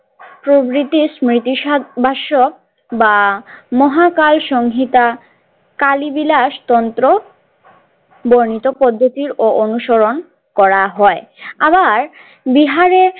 প্রগ্রিতিস স্মৃতি সাধ বাস্য বা মহাকাল সংহিতা কালী বিলাস তন্ত্র বর্ণিত পদ্ধতির ও অনুসরণ করা হয় আবার বিহারে।